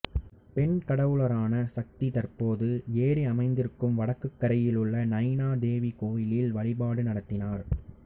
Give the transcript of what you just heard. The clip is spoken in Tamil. பெண் கடவுளரான சக்தி தற்போது ஏரி அமைந்திருக்கும் வடக்குக் கரையில் உள்ள நைனா தேவி கோயிலில் வழிபாடு நடத்தினார்